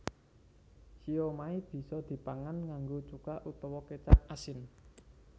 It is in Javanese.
Siomai bisa dipangan nganggo cuka utawa kécap asin